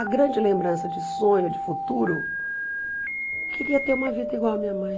A grande lembrança de sonho, de futuro, eu queria ter uma vida igual a minha mãe.